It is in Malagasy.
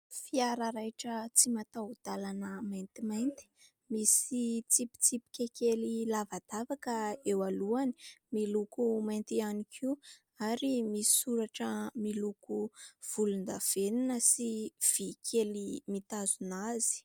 Fiara raitra tsy mataho-dalana maintimainty, misy tsipitsipika kely lavadavaka eo alohany, miloko mainty ihany koa ary misy soratra miloko volondavenona sy vy kely mitazona azy.